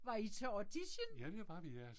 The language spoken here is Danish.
Var I til audition?